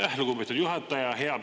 Aitäh, lugupeetud juhataja!